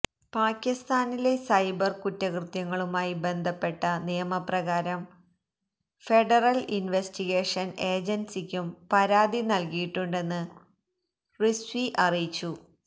പാക്കിസ്ഥാനിലെ cyber കുറ്റകൃത്യങ്ങളുമായി ബന്ധപ്പെട്ട നിയമപ്രകാരം ഫെഡറൽ ഇൻവെസ്റ്റിഗേഷൻ ഏജൻസിക്കും പരാതി നൽകിയിട്ടുണ്ടെന്ന് റിസ്വി അറിയിച്ചു